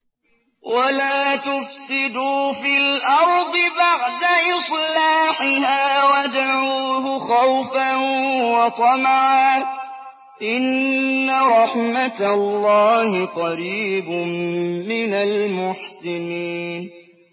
وَلَا تُفْسِدُوا فِي الْأَرْضِ بَعْدَ إِصْلَاحِهَا وَادْعُوهُ خَوْفًا وَطَمَعًا ۚ إِنَّ رَحْمَتَ اللَّهِ قَرِيبٌ مِّنَ الْمُحْسِنِينَ